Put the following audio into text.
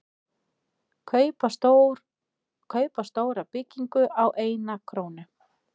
Kaupa stóra byggingu á eina krónu